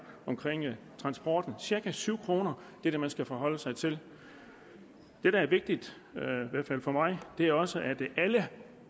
om transporten cirka syv kroner er det man skal forholde sig til det der er vigtigt i hvert fald for mig er også at alle